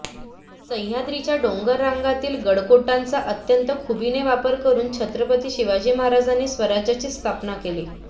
सह्याद्रीच्या डोंगररांगांतील गडकोटांचा अत्यंत खुबीने वापर करून छत्रपती शिवाजी महाराजांनी स्वराज्याची स्थापना केली